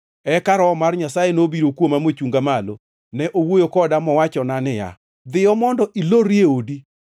Eka Roho mar Nyasaye nobiro kuoma mochunga malo. Ne owuoyo koda mowacho niya, “Dhiyo mondo ilorri e odi.